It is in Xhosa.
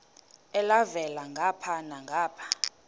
elhavela ngapha nangapha